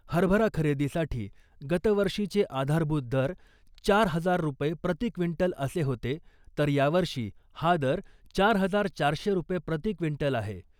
हरभरा खरेदीसाठी गतवर्षीचे आधारभूत दर चार हजार रू प्रती क्विंटल असे होते तर यावर्षी हा दर चार हजार चारशे रू प्रती क्विंटल आहे .